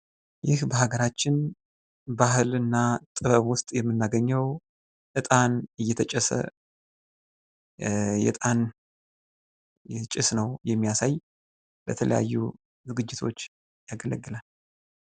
ይህ በሀገራችን ጥበብና ባህል ውስጥ የምናገኘው እጣን እየተጨሰ የእጣን ይህ ጭስ ነው የሚያሳይ ለተለያዩ ዝግጅቶች ያገለግላል።